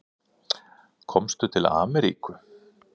Komstu til Ameríku?